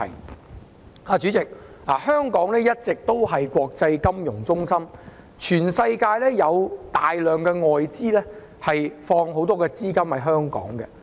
代理主席，香港一直以來是個國際金融中心，全世界有大量外資把許多資金存放在香港。